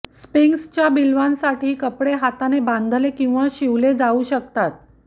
स्पिंक्सच्या बिल्वांसाठी कपडे हाताने बांधले किंवा सिले जाऊ शकतात